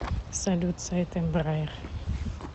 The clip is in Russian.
салют сайт эмбраер